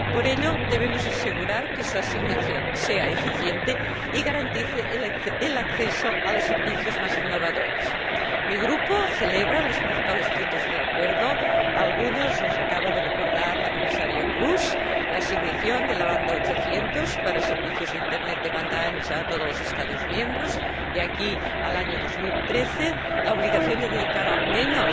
Por ello, debemos asegurar que su asignación sea eficiente y garantice el acceso a los servicios más innovadores. Mi grupo celebra los principales puntos del acuerdo, algunos los acaba de recordar la Comisaria Kroes la asignación de la banda 800 para servicios de Internet de banda ancha a todos los Estados miembros de aquí al año 2013 la obligación de dedicar, al menos,